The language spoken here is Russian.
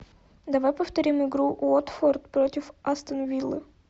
давай повторим игру уотфорд против астон виллы